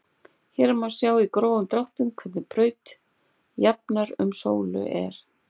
Hér má sjá í grófum dráttum hvernig braut jarðar um sólu er.